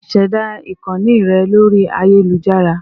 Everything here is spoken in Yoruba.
Ṣẹ̀dá ìkànnì rẹ lórí ayélujára